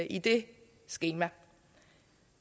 i det skema